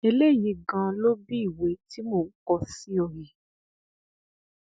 eléyìí ganan ló bi ìwé tí mò ń kọ sí ọ yìí